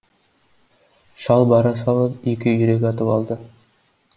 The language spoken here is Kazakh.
шал бара салып екі үйрек атып алды